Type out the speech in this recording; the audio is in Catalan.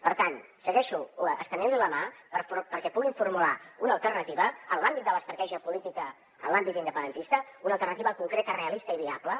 per tant segueixo estenentli la mà perquè puguin formular una alternativa en l’àmbit de l’estratègia política en l’àmbit independentista una alternativa concreta realista i viable